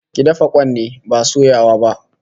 Ki dafa kwan ne, ba soyawa ba